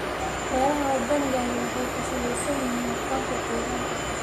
Beeraha waddaniga ahi waxay ku salaysan yihiin aqoonta deegaanka.